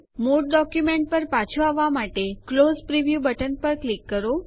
મૂળ ડોક્યુંમેન્ટ પર પાછું આવવા માટે ક્લોઝ પ્રિવ્યૂ બટન ઉપર ક્લિક કરો